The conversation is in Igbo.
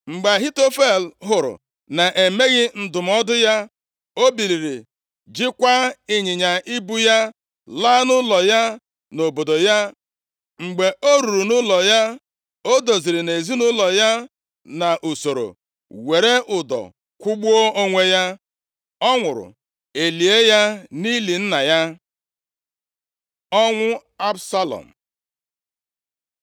Mgbe Ahitofel hụrụ na-emeghị ndụmọdụ ya, o biliri jikwaa ịnyịnya ibu ya, laa nʼụlọ ya nʼobodo ya. Mgbe o ruru nʼụlọ ya, o doziri nʼezinaụlọ ya nʼusoro, were ụdọ kwụgbuo onwe ya. Ọ nwụrụ. E lie ya nʼili nna ya. Ọnwụ Absalọm